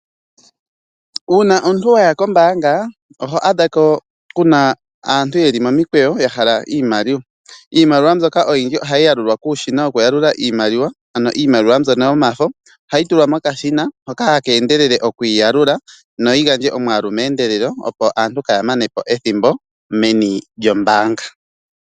Uuna omuntu waya kombaanga oho adha ko kuna aantu yeli momikweyo ya hala iimaliwa. Iimaliwa mbyoka oyindji ohayi yalulwa kuushina wokuyalula iimaliwa ano iimaliwa mbyono yomafo. Ohayi tulwa mokashina hoka haka endelele okuyi yalula noyi gandje omwaalu meendelelo opo aantu kaaya mane po ethimbo meni lyombaanga.